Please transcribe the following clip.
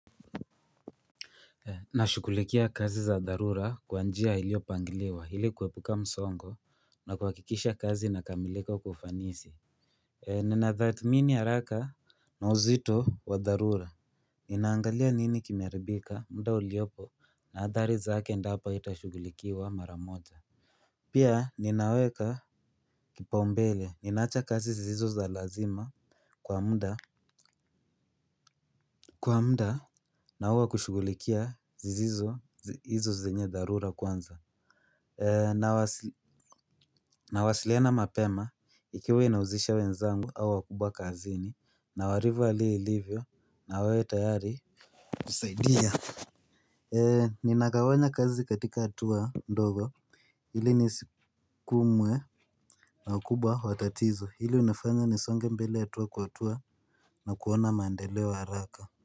Nashughulikia kazi za dharura kwa njia iliopangiliwa hili kuepuka msongo na kuhakikisha kazi inakamilika kwa ufanisi. Nina dhamini ya haraka na uzito wa darura. Ninaangalia nini kimeharibika muda uliopo na hadhari zake endapo itashughulikiwa maramoja. Pia ninaweka kipaumbele ninaacha kazi zisizo za lazima kwa muda. Kwa muda na huwa kushughulikia zisizo zenye dharura kwanza. Nawasiliana mapema ikiwa inauzisha wenzangu au wakubwa kazini na walivyo hali ilivyo na wawe tayari kusaidia. Ninagawanya kazi katika hatua ndogo ili nisikumwe na wakubwa watatizo hilo linafanya nisonge mbele hatua kwa hatua na kuona mandeleo haraka.